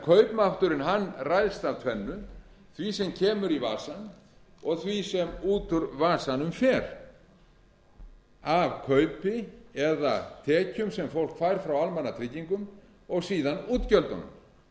að kaupmátturinn ræðst af tvennu því sem kemur í vasann og því sem út úr vasanum fer af kaupi eða tekjum sem fólk fær frá almannatryggingum og síðan útgjöldunum og það